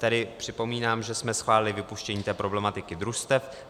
Tedy připomínám, že jsme schválili vypuštění té problematiky družstev.